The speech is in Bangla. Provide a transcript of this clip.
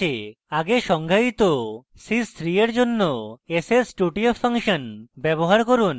আগে সংজ্ঞায়িত sys 3 এর জন্য ss 2 tf ফাংশন ব্যবহার করুন